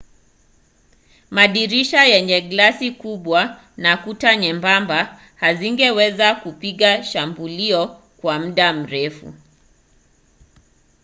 madirisha yenye glasi kubwa na kuta nyembamba hazingeweza kupinga shambulio kwa muda mrefu